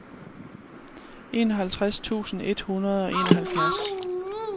enoghalvtreds tusind et hundrede og enoghalvfjerds